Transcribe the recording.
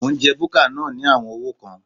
Mò ń jẹ búkà náà ní àwọn owó kan.